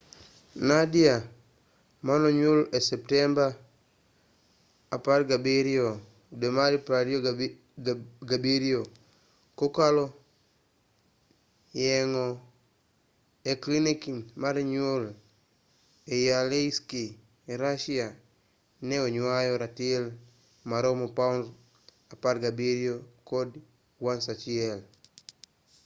nadia manonyuol e septemba 17,2007 kokalo yeng'o e klinik mar nyuol ei aleisk russia ne oywayo ratil maromo paund 17 kod ounce 1